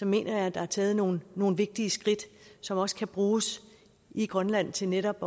mener jeg at der er taget nogle nogle vigtige skridt som også kan bruges i grønland til netop